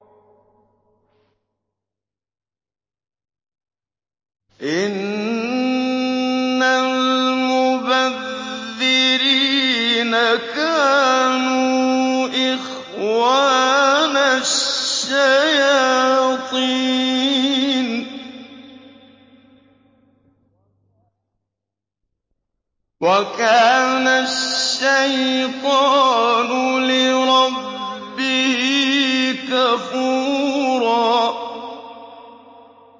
إِنَّ الْمُبَذِّرِينَ كَانُوا إِخْوَانَ الشَّيَاطِينِ ۖ وَكَانَ الشَّيْطَانُ لِرَبِّهِ كَفُورًا